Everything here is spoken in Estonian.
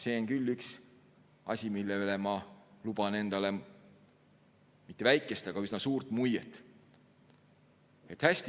See on küll üks asi, mille üle ma luban endale mitte väikest, vaid üsna suurt muiet.